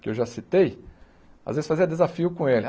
que eu já citei, às vezes fazia desafio com ele.